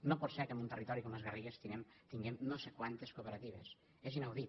no pot ser que en un territori com les garrigues tinguem no sé quantes cooperatives és inaudit